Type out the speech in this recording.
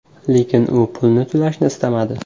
Lekin u pulni to‘lashni istamadi.